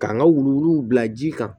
K'an ka wuluwuluw bila ji kan